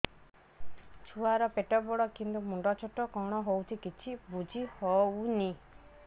ଛୁଆର ପେଟବଡ଼ କିନ୍ତୁ ମୁଣ୍ଡ ଛୋଟ କଣ ହଉଚି କିଛି ଵୁଝିହୋଉନି